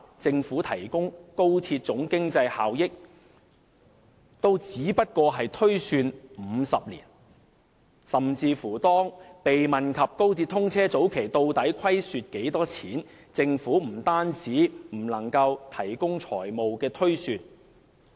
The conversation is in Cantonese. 政府提供的高鐵總經濟效益也只是推算了50年，甚至當被問及高鐵通車早期究竟會虧損多少時，政府也不能提供財務推算。